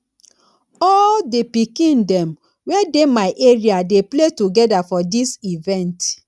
all di pikin dem wey dey my area dey play togeda for dis event